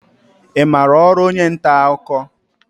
I maara ọrụ onye nta akụkọ?